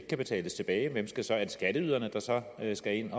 kan betales tilbage er det så skatteyderne der skal ind